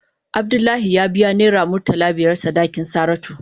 Abdullahi ya biya naira murtala biyar sadakin Saratu.